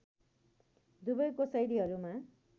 दुबैको शैलीहरूमा